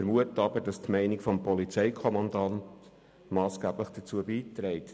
Ich vermute jedoch, dass die Meinung des Polizeikommandanten massgeblich dazu beiträgt.